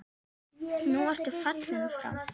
Nú ertu fallinn frá.